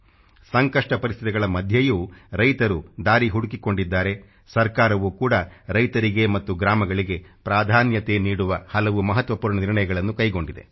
ಸಂಕಷ್ಟ ಪರಿಸ್ಥಿತಿಗಳ ಮಧ್ಯೆಯೂ ರೈತರು ದಾರಿ ಹುಡುಕಿಕೊಂಡಿದ್ದಾರೆ ಸರ್ಕಾರವು ಕೂಡಾ ರೈತರಿಗೆ ಮತ್ತು ಗ್ರಾಮಗಳಿಗೆ ಪ್ರಾಧಾನ್ಯತೆ ನೀಡುವ ಹಲವು ಮಹತ್ವಪೂರ್ಣ ನಿರ್ಣಯಗಳನ್ನು ಕೈಗೊಂಡಿದೆ